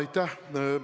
Aitäh!